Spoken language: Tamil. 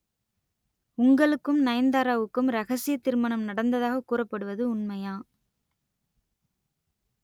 உங்களுக்கும் நயன்தாராவுக்கும் ரகசிய திருமணம் நடந்ததாக கூறப்படுவது உண்மையா